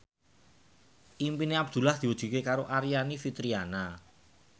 impine Abdullah diwujudke karo Aryani Fitriana